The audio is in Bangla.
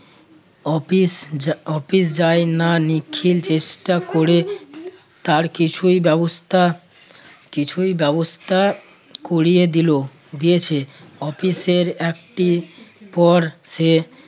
অফিস যা~ অফিস যায় না। নিখিল চেষ্টা করে তার কিছুই ব্যবস্থা~ কিছুই ব্যবস্থা করিয়ে দিল দিয়েছে অফিসের একটি পর সে